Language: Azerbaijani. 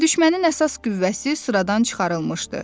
Düşmənin əsas qüvvəsi sıradan çıxarılmışdı.